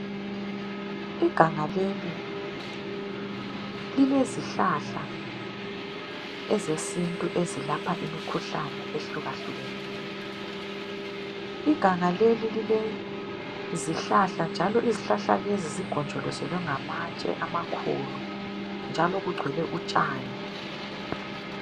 Iganga leli lilezihlahla ezesintu ezelapha imikhuhlane ehlukahlukeneyo , iganga leli lilezihlahla njalo izihlahla lezi zigonjolozelwe ngamatshe amakhulu njalo kugcwele utshani.